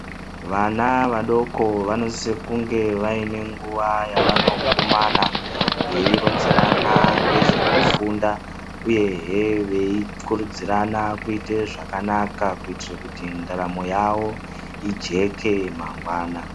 Vana vadoko vanosise kunge vaine nguwa yavanokumana veironzerana nezvekufunda uyehee veikurudzirana kuite zvakanaka kuitire kuti ndaramo yavo ijeke mangwana.